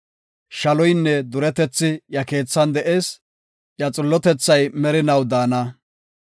Shaloynne duretethi iya keethan de7ees; iya xillotethay merinaw daana.